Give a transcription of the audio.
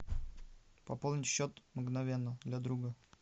пополнить счет мгновенно для друга